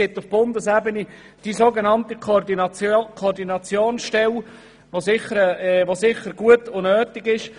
Auf Bundesebene besteht die so genannte Koordinationsstelle, die sicher gut und notwendig ist.